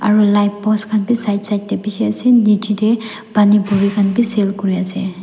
aro light post khan bi side side tae bishi ase aro nichae tae Pani puri khan bi sell kuriase.